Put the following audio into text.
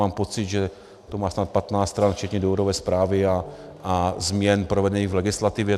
Mám pocit, že to má snad 15 stran včetně důvodové zprávy a změn provedení v legislativě.